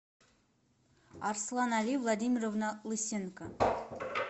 арслан али владимировна лысенко